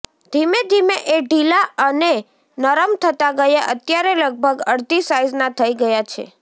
ધીમે ધીમે એ ઢીલા અને નરમ થતાં ગયાં અત્યારે લગભગ અડધી સાઈઝના થઈ ગયા છે